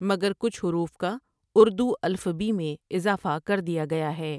مگر کچھ حروف کا اردو الفبی میں اضافہ کر دیا گیا ہے ۔